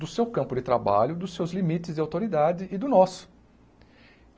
do seu campo de trabalho, dos seus limites de autoridade e do nosso.